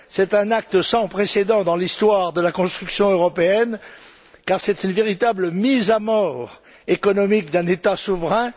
C'est un acte sans précédent dans l'histoire de la construction européenne, car c'est une véritable mise à mort économique d'un État souverain.